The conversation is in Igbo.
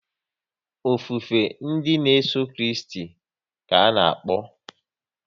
Ofufe ndị n'eso Kristi ka ana-akpọ